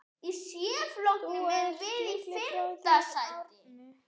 Þinn litli bróðir, Árni.